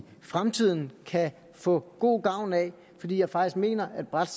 fremtiden kan få god gavn af fordi jeg faktisk mener at et bredt